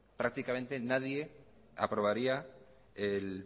prácticamente nadie aprobaría el